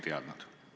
Me ei teadnud.